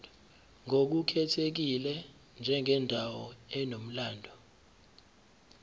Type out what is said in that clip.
ngokukhethekile njengendawo enomlando